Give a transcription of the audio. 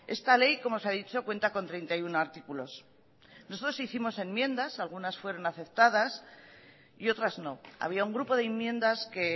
esta ley como se ha dicho cuenta con treinta y uno artículos nosotros hicimos enmiendas algunas fueron aceptadas y otras no había un grupo de enmiendas que